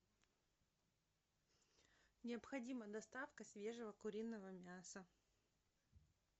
необходима доставка свежего куриного мяса